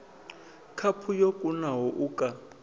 khaphu yo kunaho u ka